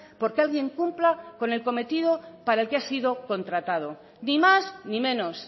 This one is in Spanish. porque alguien cumpla con el cometido para el que ha sido contratado ni más ni menos